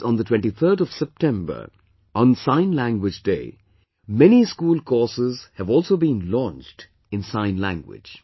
on the 23rd of September, on the Sign Language Day, many school courses have also been launched in Sign Language